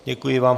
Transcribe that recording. Děkuji vám.